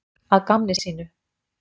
Að gamni sínu?